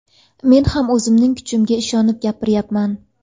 Men ham o‘zimning kuchimga ishonib gapiryapman.